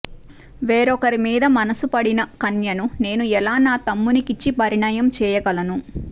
వేరొకరి మీద మనసు పడిన కన్యను నేను ఎలా నా తమ్మునికిచ్చి పరిణయం చేయగలను